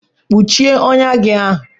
Kpuchie ọnyá gị ahụ!